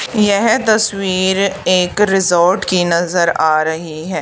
यह तस्वीर एक रिसॉर्ट की नजर आ रही है।